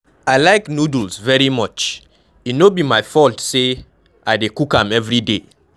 I like noodles very much, e no be my fault say I dey cook am everyday.